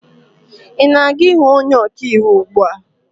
ị na aga-ịhụ onye ọka iwu ugbu a?